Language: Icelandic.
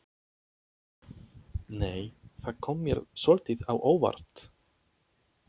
Nei! Það kom mér svolítið á óvart!